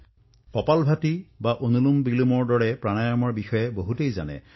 কপালভাতী আৰু অনুলোমবিলোম প্ৰাণায়ামৰ সৈতে অধিক সংখ্যক লোক পৰিচিত